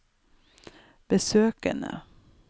besøkene